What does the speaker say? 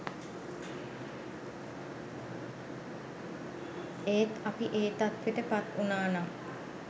ඒත් අපි ඒ තත්වෙට පත් උනානම්